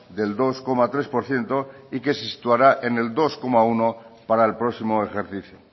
del dos coma tres por ciento y que se situará en el dos coma uno para el próximo ejercicio